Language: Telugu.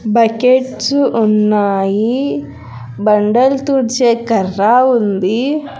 బకెట్సు ఉన్నాయి బండల్ తుడిచే కర్రా ఉంది.